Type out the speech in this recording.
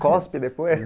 Cospe depois?